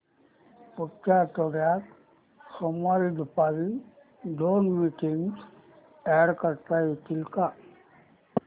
पुढच्या आठवड्यात सोमवारी दुपारी दोन मीटिंग्स अॅड करता येतील का